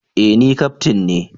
E! Ni kaftin ne